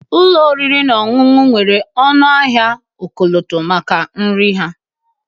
Ụlọ oriri na ọṅụṅụ nwere ọnụahịa ọkọlọtọ maka nri ha